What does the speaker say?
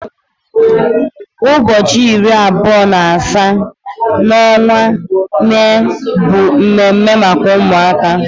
Ụbọchị iri abụọ na asaa n'ọnwa Mee bụ mme mme maka ụmụaka.